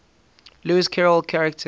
lewis carroll characters